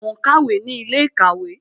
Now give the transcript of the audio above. Mo ń kàwé ní ilé ìkàwé